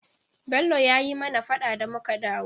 Bello ya yi mana faɗa da muka dawo.